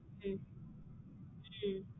உம் உம்